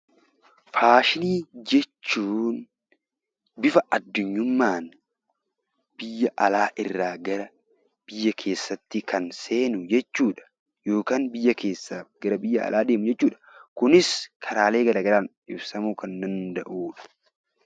Faashinii jechuun bifa addunyummaan biyya alaa irraa gara biyya keessatti kan seenu jechuudha. Yookiin biyya keessaa gara biyya alaa deemu jechuudha. Kunis karaalee garaagaraan ibsamuu kan danda'udha.